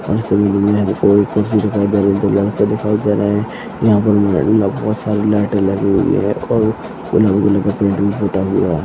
दिखाई दे रहा है